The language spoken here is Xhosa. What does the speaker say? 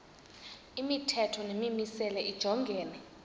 imithetho nemimiselo lijongene